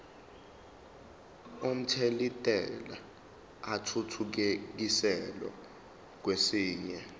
omthelintela athuthukiselwa kwesinye